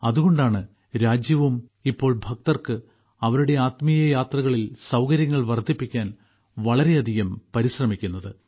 അതുകൊണ്ടാണ് രാജ്യവും ഇപ്പോൾ ഭക്തർക്ക് അവരുടെ ആത്മീയയാത്രകളിൽ സൌകര്യങ്ങൾ വർദ്ധിപ്പിക്കാൻ വളരെയധികം പരിശ്രമിക്കുന്നത്